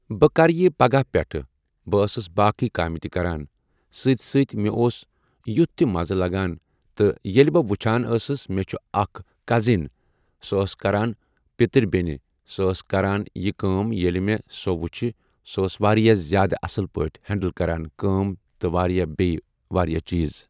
بہ کرٕ یہِ پگاہ پٮ۪ٹھہٕ بہِ ٲسس باقۍ کامہِ تہِ کران سۭتۍ سۭتۍ مےٚ اوٚس یُتھ تہِ مزٕ لگان تہِ ییٚلہِ بہِ وٕچھان ٲسس مےٚ چھ اکھ کزن سۄ آس کران پتر بینہِ سہِ آس کران یہِ کٲم ییٚلہِ مےٚ سۄ وٕچھ سۄ ٲس واریاہ ذیادٕ اصل پاٹھۍ ہینڈل کران کٲم تہِ بیٚیہِ واریاہ چیٖز۔